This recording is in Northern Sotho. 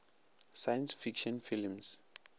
science fiction films